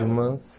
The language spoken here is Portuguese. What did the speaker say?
Irmãs?